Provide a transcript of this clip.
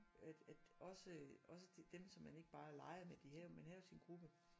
At at også også dem som man ikke bare legede med de havde jo man havde jo sin gruppe